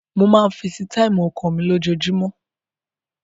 Mo máa ń feesitáìmù ọkọ mi lójoojúmọ́.